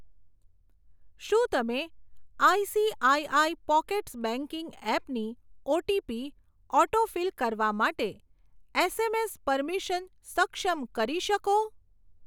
શું તમે ICICI Pockets banking એપની ઓટીપી ઓટોફિલ કરવા માટે એસએમએસ પરમીશન સક્ષમ કરી શકો?